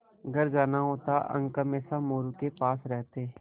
घर जाना होता अंक हमेशा मोरू के पास रहते